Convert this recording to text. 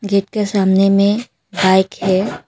Gate के सामने में बाइक है।